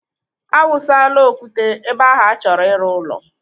A wụsala okwute ebe ahụ achọrọ iru ụlọ